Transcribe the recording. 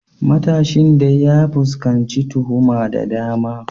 Matashin dai ya fuskanci tuhuma da dama.